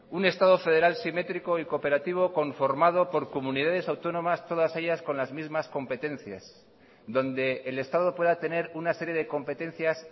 un estado federal simétrico y cooperativo conformado por comunidades autónomas todas ellas con las mismas competencias donde el estado pueda tener una serie de competencias